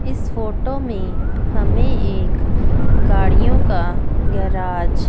इस फोटो में हमें एक गाड़ियों का गैराज --